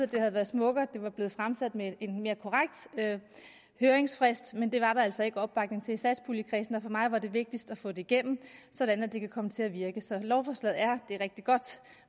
det havde været smukkere at det var blevet fremsat med en mere korrekt høringsfrist men det var der altså ikke opbakning til i satspuljekredsen og for mig var det vigtigst at få det igennem sådan at det kan komme til at virke så lovforslaget er rigtig godt